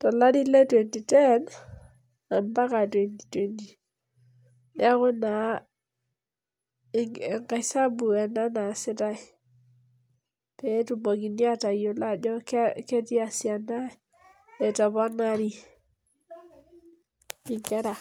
tolari le twenty-ten, ampaka twenty-twenty. Neeku naa enkaisabu ena naasitai, petumokini atayiolo ajo tiasiana etoponari inkera.